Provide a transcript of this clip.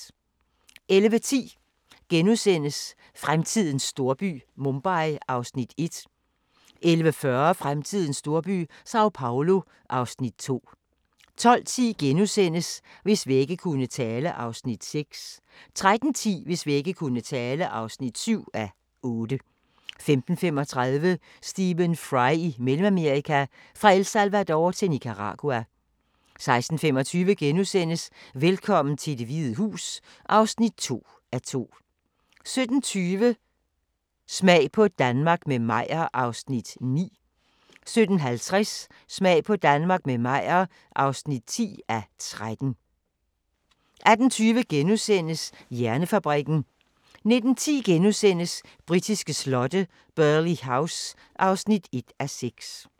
11:10: Fremtidens storby – Mumbai (Afs. 1)* 11:40: Fremtidens storby – Sao Paulo (Afs. 2) 12:10: Hvis vægge kunne tale (6:8)* 13:10: Hvis vægge kunne tale (7:8) 15:35: Stephen Fry i Mellemamerika – Fra El Salvador til Nicaragua 16:25: Velkommen til Det Hvide Hus (2:2)* 17:20: Smag på Danmark – med Meyer (9:13) 17:50: Smag på Danmark – med Meyer (10:13) 18:20: Hjernefabrikken * 19:10: Britiske slotte: Burghley House (1:6)*